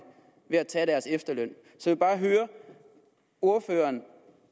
ved at tage deres efterløn så jeg vil bare høre ordføreren